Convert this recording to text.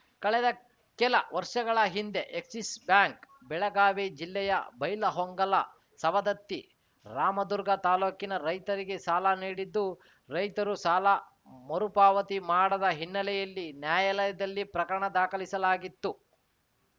ಕಳೆದ ಕೆಲ ವರ್ಷಗಳ ಹಿಂದೆ ಎಕ್ಸಿಸ್‌ ಬ್ಯಾಂಕ್‌ ಬೆಳಗಾವಿ ಜಿಲ್ಲೆಯ ಬೈಲಹೊಂಗಲ ಸವದತ್ತಿ ರಾಮದುರ್ಗ ತಾಲೂಕಿನ ರೈತರಿಗೆ ಸಾಲ ನೀಡಿದ್ದು ರೈತರು ಸಾಲ ಮರುಪಾವತಿ ಮಾಡದ ಹಿನ್ನೆಲೆಯಲ್ಲಿ ನ್ಯಾಯಾಲಯದಲ್ಲಿ ಪ್ರಕರಣ ದಾಖಲಿಸಲಾಗಿತ್ತು